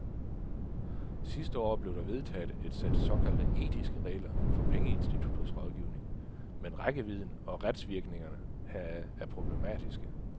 Sidste år blev der vedtaget et sæt såkaldte etiske regler for pengeinstitutters rådgivning, men rækkevidden og retsvirkningerne heraf er problematiske.